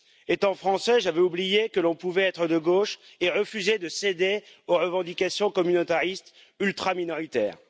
Étant français, j'avais oublié que l'on pouvait être de gauche et refuser de céder aux revendications communautaristes ultraminoritaires.